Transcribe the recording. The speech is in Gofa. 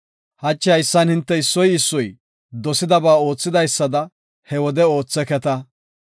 Hachi haysan hinte issoy issoy, dosidaba ootheysada he wode ootheketa.